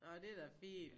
Nå det er da fint